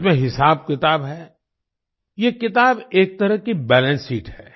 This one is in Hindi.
इसमें हिसाब किताब है ये किताब एक तरह की बैलेंस शीट है